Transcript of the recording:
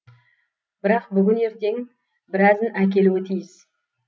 бірақ бүгін ертең біразын әкелуі тиіс